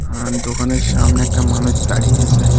আর দোকানের সামনে একটা মানুষ দাঁড়িয়ে আছে.